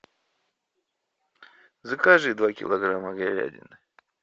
закажи два килограмма говядины